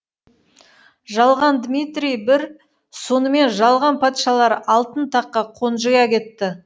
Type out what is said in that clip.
жалған дмитрий і сонымен жалған патшалар алтын таққа қонжия кетті